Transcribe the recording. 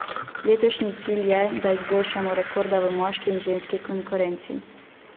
Letošnji cilj je, da izboljšamo rekorda v moški in ženski konkurenci.